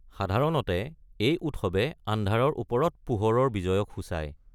সাধাৰণতে, এই উৎসৱে আন্ধাৰৰ ওপৰত পোহৰৰ বিজয়ক সূচায়।